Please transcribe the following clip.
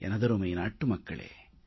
எனதருமை நாட்டுமக்களே